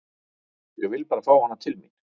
Ég vil bara fá hana til mín.